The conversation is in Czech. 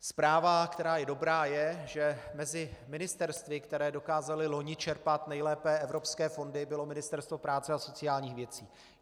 Zpráva, která je dobrá, je, že mezi ministerstvy, která dokázala loni čerpat nejlépe evropské fondy, bylo Ministerstvo práce a sociálních věcí.